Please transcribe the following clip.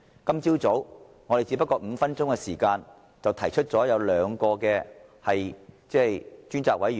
今早，我們只不過用了5分鐘便提出要求就兩項事宜成立專責委員會。